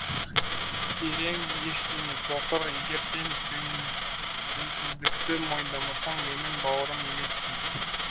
керең ештеңе соқыр егер сен дінсіздікті мойындамасаң менің бауырым емессің